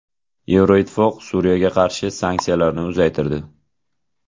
Yevroittifoq Suriyaga qarshi sanksiyalarni uzaytirdi.